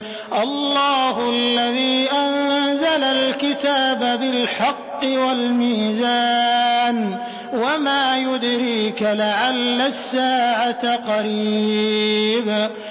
اللَّهُ الَّذِي أَنزَلَ الْكِتَابَ بِالْحَقِّ وَالْمِيزَانَ ۗ وَمَا يُدْرِيكَ لَعَلَّ السَّاعَةَ قَرِيبٌ